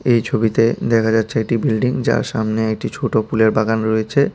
এই ছবিতে দেখা যাচ্ছে একটি বিল্ডিং যার সামনে একটি ছোট ফুলের বাগান রয়েছে।